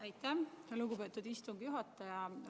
Aitäh, lugupeetud istungi juhataja!